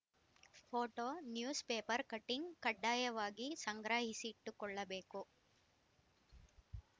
photo news paper cutting ಕಡ್ಡಾಯವಾಗಿ ಸಂಗ್ರಹಿಸಿಟ್ಟುಕೊಳ್ಳಬೇಕು